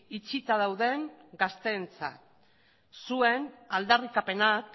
itxita dauden gazteentzat zuen aldarrikapenak